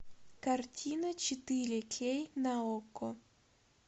картина четыре кей на окко